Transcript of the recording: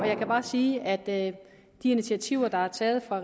jeg kan bare sige at de initiativer der er taget fra